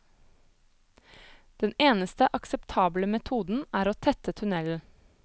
Den eneste akseptable metoden er å tette tunnelen.